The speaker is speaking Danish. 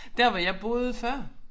Dér hvor jeg boede før